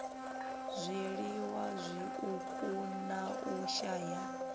zwiliwa zwiuku na u shaya